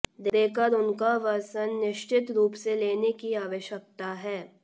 देकर उनका वर्सन निश्चित रूप से लेने की आवश्यकता है